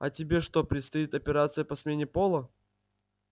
а тебе что предстоит операция по смене пола